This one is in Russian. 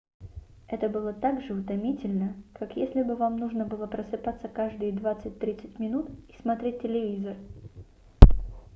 это было также утомительно как если бы вам нужно были просыпаться каждые 20-30 минут и смотреть телевизор